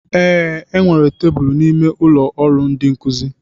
Ee, e nwere tebụl n'ime ụlọ ọrụ ndi nkuzi.